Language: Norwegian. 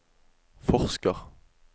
forsker